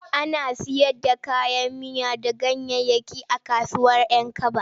Ana sayar da kayan miya da ganyayyaki a kasuwar 'Yankaba.